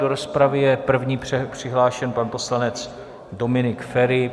Do rozpravy je první přihlášen pan poslanec Dominik Feri.